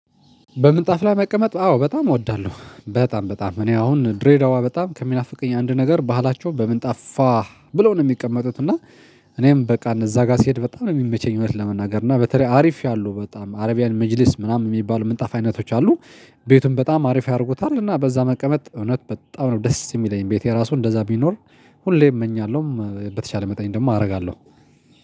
በምጣፍ ላይ መቀመጥ አዎ በጣም እወዳለሁ በጣም በጣም እኔ አሁን ድሬዳዋ በጣም ከሚናፍቀኝ አንድ ነገር ባህላቸው በምንጣፍ ፏ ብለው ነው የሚቀመጡት። እና እኔም በቃ እዛ ጋር ስሄድ በጣም የሚመቸኝ እውነት ለመናገር እና በተለይ አሪፍ ያሉ በጣም አረቢያን ምጅለስ ምናምን የሚባሉ ምንጣፍ አይነቶች አሉ። ቤቱን በጣም አሪፍ ያደርጉታል እና በዛ መቀመጥ እውነት በጣም ነው ደስ የሚለኝ ቤቴ ራሱ እንደዛ ቢኖር። ሁሌ እመኛለሁም በተቻለ መጠን ደግሞ አደርጋለሁ።